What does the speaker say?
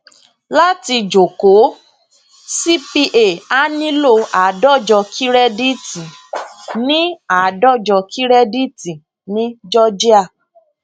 láti jókòó cpa a nílò àádọjọ kírẹdíìtì ní àádọjọ kírẹdíìtì ní georgia